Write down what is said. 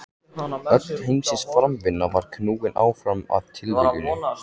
Öll heimsins framvinda var knúin áfram af tilviljunum.